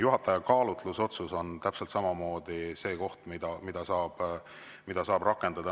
Juhataja kaalutlus on täpselt samamoodi see, mida saab rakendada.